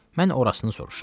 Mən orasın soruşuram.